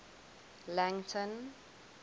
langton